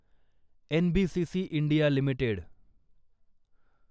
NBCC India limited